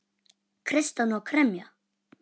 Kreista hana og kremja.